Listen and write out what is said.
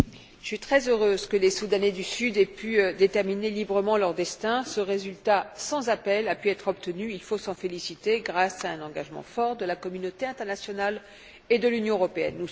Monsieur le Président, je suis très heureuse que les Soudanais du Sud aient pu déterminer librement leur destin. Ce résultat sans appel a pu être obtenu, on peut s'en féliciter, grâce à un engagement fort de la communauté internationale et de l'Union européenne.